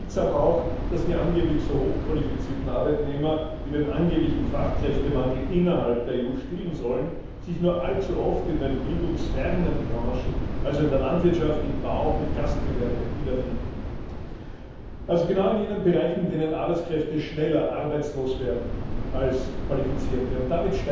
Seltsam auch, dass die angeblich so hochqualifizierten Arbeitnehmer, die den angeblichen Fachkräftemangel innerhalb der EU stillen sollen, sich nur allzu oft in den bildungsfernen Branchen also in der Landwirtschaft, im Bau und im Gastgewerbe wiederfinden, also genau in jenen Bereichen, in denen Arbeitskräfte schneller arbeitslos werden als qualifizierte Arbeitskräfte.